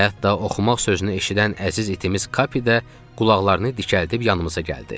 Hətta oxumaq sözünü eşidən əziz itimiz Kapi də qulaqlarını dikəldib yanımıza gəldi.